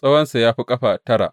Tsawonsa ya fi ƙafa tara.